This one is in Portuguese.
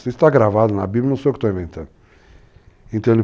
Isso está gravado na Bíblia, não sou eu que estou inventando.